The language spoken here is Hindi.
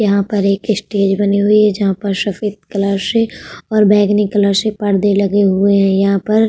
यहां पर एक स्टेज बनी हुई है। जहां पर सफेद कलर से और बैगनी कलर से पर्दे लगे हुए है। यहाँ पर --